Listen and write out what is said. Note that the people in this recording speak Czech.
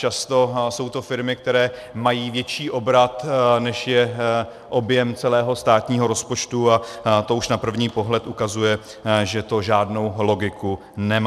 Často jsou to firmy, které mají větší obrat, než je objem celého státního rozpočtu, a to už na první pohled ukazuje, že to žádnou logiku nemá.